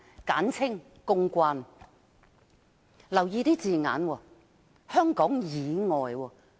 請大家留意用字，是"香港以外"。